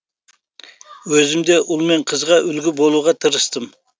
өзім де ұл мен қызға үлгі болуға тырыстым